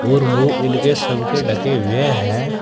और मुंह इनके सब के ढके हुए हैं।